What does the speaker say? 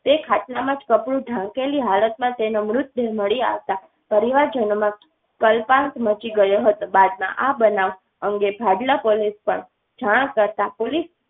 તે ખાટલામાં કપડું ઢાંકેલી હાલતમાં તેનો મૃતદેહ મળી આવતા પરિવારજનોમાં કલ્પાંત મચી ગયો હતો. બાદમાં આ બનાવ અંગે ભાડલા પોલીસ ને જાણ કરતાં પોલીસ